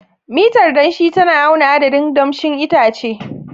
Mitar danshi tana auna adadin damshin itace.